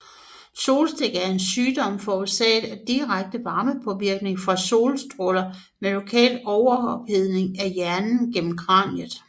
Solstik er en sygdom forårsaget af direkte varmepåvirkning fra solstråler med lokal overophedning af hjernen gennem kraniet